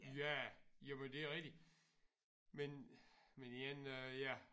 Ja jamen det er rigtigt men men en ja